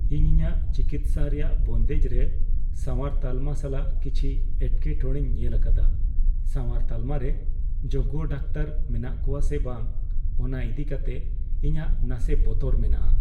ᱤᱧ ᱤᱧᱟᱹᱜ ᱪᱤᱠᱤᱛᱥᱟ ᱨᱮᱭᱟᱜ ᱵᱚᱱᱫᱮᱡ ᱨᱮ ᱥᱟᱶᱟᱨ ᱛᱟᱞᱢᱟ ᱥᱟᱞᱟᱜ ᱠᱤᱪᱷᱤ ᱮᱴᱠᱮᱴᱚᱲᱮᱧ ᱧᱮᱞ ᱟᱠᱟᱫᱟ ᱾ ᱥᱟᱶᱟᱨ ᱛᱟᱞᱢᱟ ᱨᱮ ᱡᱳᱜᱽᱜᱚ ᱰᱟᱠᱛᱟᱨ ᱢᱮᱱᱟᱜ ᱠᱚᱣᱟ ᱥᱮ ᱵᱟᱝ ᱚᱱᱟ ᱤᱫᱤ ᱠᱟᱛᱮ ᱤᱧᱟᱹᱜ ᱱᱟᱥᱮ ᱵᱚᱛᱚᱨ ᱢᱮᱱᱟᱜᱼᱟ ᱾